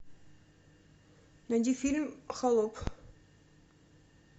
найди фильм холоп